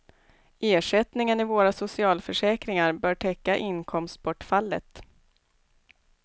Ersättningen i våra socialförsäkringar bör täcka inkomstbortfallet.